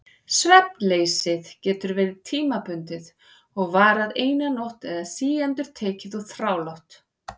Svefnleysið getur verið tímabundið og varað eina nótt eða síendurtekið og þrálátt.